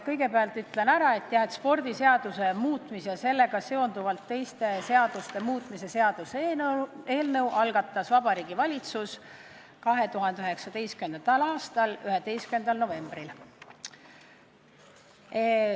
Kõigepealt ütlen ära, et spordiseaduse muutmise ja sellega seonduvalt teiste seaduste muutmise seaduse eelnõu algatas Vabariigi Valitsus 2019. aasta 11. novembril.